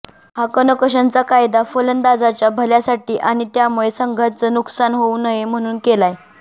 हा कनकशनचा कायदा फलंदाजांच्या भल्यासाठी आणि त्यामुळे संघाचं नुकसान होऊ नये म्हणून केलाय